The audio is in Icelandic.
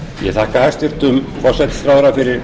ég þakka hæstvirtum forsætisráðherra fyrir